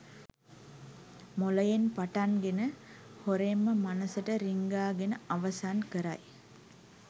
මොළයෙන් පටන් ගෙන හොරෙන්ම මනසට රිංගා ගෙන අවසන් කරයි.